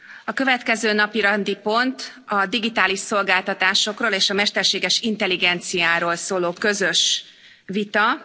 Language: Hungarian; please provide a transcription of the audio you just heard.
A következő napirendi pont a digitális szolgáltatásokról és a mesterséges intelligenciáról szóló közös vita.